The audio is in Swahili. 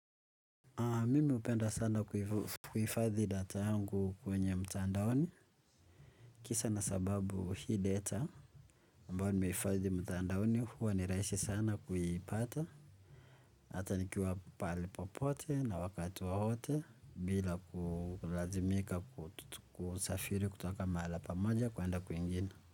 Mimi hupenda sana kuhifadhi data yangu kwenye mtandaoni. Kisa na sababu hii data ambayo nimehifadhi mtandaoni huwa ni rahisi sana kuipata. Hata nikiwa pahali popote na wakati wowote bila kulazimika kusafiri kutoka mahala pamoja kwenda kwingine.